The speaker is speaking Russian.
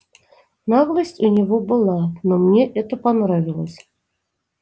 наглость у него была но мне это понравилось